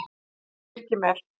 Birkimel